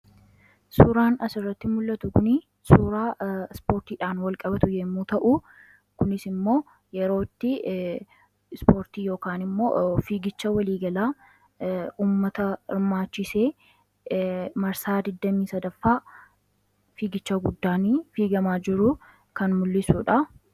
suuraan asirratti mul'atuni suuraa spoortiidhaan walqabatu yommuu ta'u kunis immoo yerootti spoortii y fiigicha waliigalaa ummata irmaachisee marsaa 28ffaa fiigicha guddaanii fiigamaa jiruu kan mul'isuudha